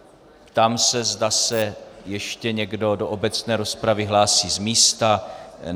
Ptám se, zda se ještě někdo do obecné rozpravy hlásí z místa.